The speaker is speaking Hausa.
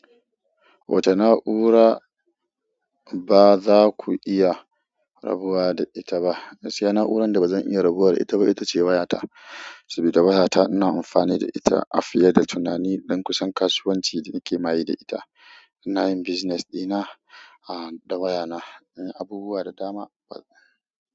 Wacce na'ura ce ba za ku iya rabuwa da ita ba? Gaskiya na'urar da ba zan iya rabuwa da ita ba ita ce wayata, saboda waya ta ina amfani da ita a fiye da tunani don duk kasuwanci da ita nake yi ina yin business ɗina, da wayana. Abubuwa da dama.